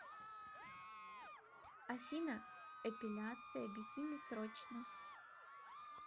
афина эпиляция бикини срочно